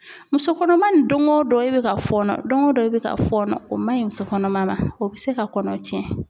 Muso kɔnɔma ni don o don, e bɛ ka fɔɔnɔ , don o don e bɛ ka fɔɔnɔ ,o man ɲi muso kɔnɔma ma ,o bɛ se ka kɔnɔ tiɲɛ.